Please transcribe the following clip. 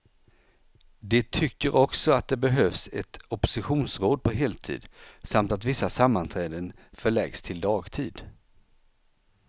De tycker också att det behövs ett oppositionsråd på heltid, samt att vissa sammanträden förläggs till dagtid.